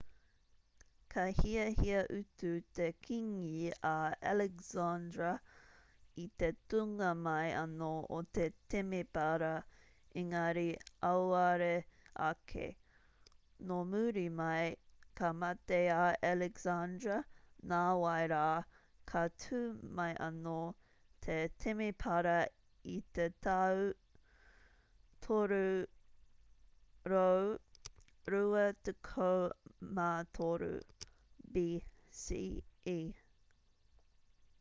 ka hiahia utu te kīngi a alexandra i te tūnga mai anō o te temepara engari auare ake nō muri mai ka mate a alexandra nāwai rā ka tū mai anō te temepara i te tau 323 bce